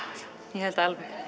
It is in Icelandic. ég held